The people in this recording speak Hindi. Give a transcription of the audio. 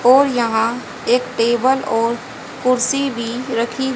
और यहां एक टेबल और कुर्सी भी रखी--